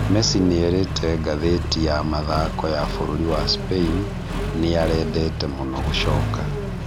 Messi nĩerĩte ngathĩti ya Mathako ya bũrũri wa Spain "Nĩarendete mũno gũcoka",